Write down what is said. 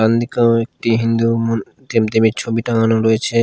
একটি হিন্দু ছবি টাঙানো রয়েছে।